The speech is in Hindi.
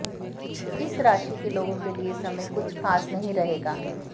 इस राशि के लोगों के लिए समय कुछ खास नहीं रहेगा